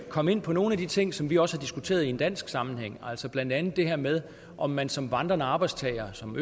kom ind på nogle af de ting som vi også har diskuteret i en dansk sammenhæng altså blandt andet det her med om man som vandrende arbejdstager som